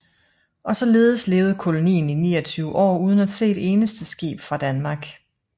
Og således levede kolonien i 29 år uden at se et eneste skib fra Danmark